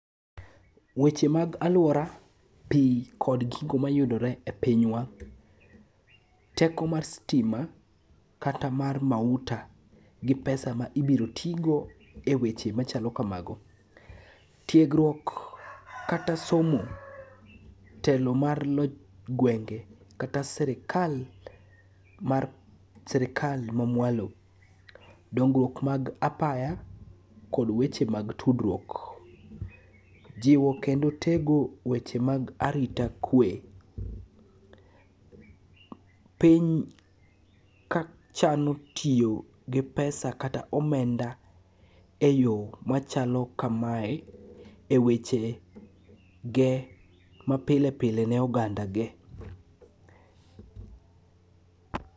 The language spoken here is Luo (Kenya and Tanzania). Weche mag alwora, pi kod gigo mayudore e pinywa, teko mar stima kata mar mauta ,gi pesa ma ibiro tigo e weche machalo kamago. Tiegruok kata somo, telo mar loch gwenge kata sirikal mamwalo, dongruok mag apaya kod weche mag tudruok. Jiwo kendo tego weche mag arita kwe, piny kachano tiyo gi pesa kata omenda e yo machalo kamae e wechege mapile pile ne oganda ge.